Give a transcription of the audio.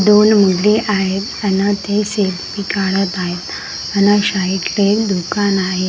दोन मुले आहेत आण ते सेल्फी काढत आहेत आण शइटले साइडला दुकान आहे.